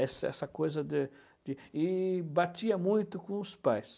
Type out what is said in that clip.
Essa essa coisa de de... E batia muito com os pais.